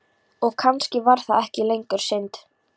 Og kannski var það ekki lengur synd.